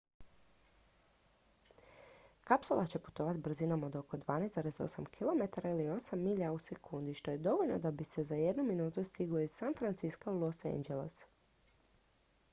kapsula će putovati brzinom od oko 12,8 km ili 8 milja u sekundi što je dovoljno da bi se za jednu minutu stiglo iz san francisca u los angeles